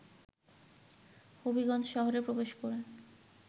হবিগঞ্জ শহরে প্রবেশ করে